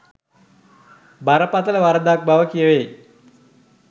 බරපතල වරදක් බව කියවෙයි